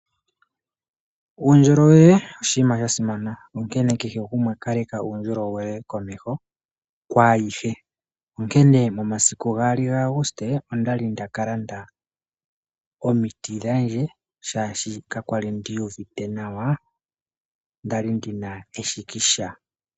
Uundjolowele oshinima sha simana onkene keshe gumwe kaleka uundjolowele komeho kwayihe. Onkene momasiku 2 Agusite ondali ndaka landa omiti dhandje shashi kakwali ndiyuvite nawa nda li ndiina eshikisha.